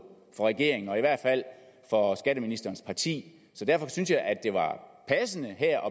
for regeringen og i hvert fald for skatteministerens parti så derfor synes jeg at det var passende her